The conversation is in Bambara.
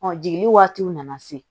jiginni waatiw nana se